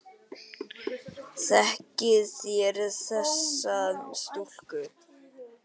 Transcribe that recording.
Þekkið þér þessa stúlku?